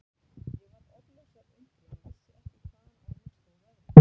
Ég varð orðlaus af undrun og vissi ekki hvaðan á mig stóð veðrið.